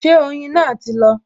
Ṣé oyin náà ti lọ?